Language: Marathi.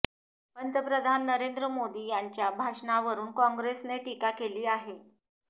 पंतप्रधान नरेंद्र मोदी यांच्या भाषणावरुन काँग्रेसने टीका केली आहे